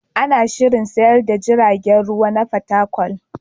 Ana gama shirin sayar da tashar jiragen ruwa ta Fatakwal.